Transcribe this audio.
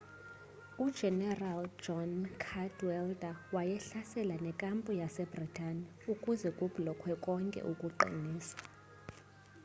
ujenerali john cadwalder wayehlasela nekampu yase-bhritane ukuze kublokwe konke ukuqiniswa